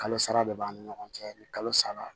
Kalo sara de b'an ni ɲɔgɔn cɛ ni kalo sara